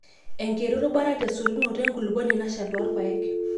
enkiti rubata te sotunoto enkuluponi nashal toorpaek